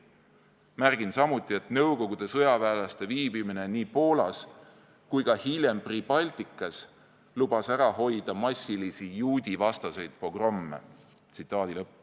Märgin samuti, et nõukogude sõjaväelaste viibimine nii Poolas kui ka hiljem Pribaltikas lubas ära hoida massilisi juudivastaseid pogromme.